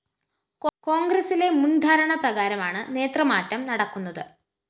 കോണ്‍ഗ്രസിലെ മുന്‍ധാരണ പ്രകാരമാണ് നേതൃമാറ്റം നടക്കുന്നത്